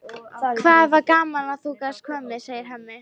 Það var gaman að þú gast komið, segir Hemmi.